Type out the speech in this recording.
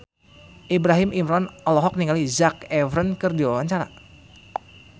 Ibrahim Imran olohok ningali Zac Efron keur diwawancara